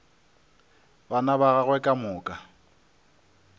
bana ba gagwe ka moka